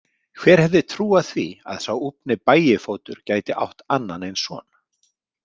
Hver hefði trúað því að sá úfni Bægifótur gæti átt annan eins son?